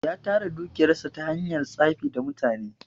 Ya tara dukiyar sa ta hanyar tsafi da mutane.